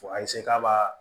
Fo a k'a b'a